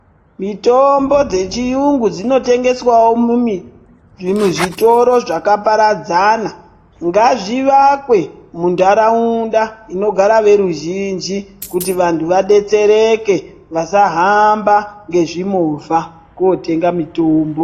Mitombo dzechiyungu dzinotengeswawo mumizvimuzvitoro zvakaparadzana. Ngazvivakwe muntaraunda inogara veruzhinji ,kuti vantu vadetsereke, vasahamba ngezvimovha kootenga mitombo.